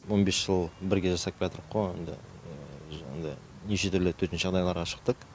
он бес жыл бірге жасап келеатырқ қо енді неше түрлі төтенше жағдайларға шықтық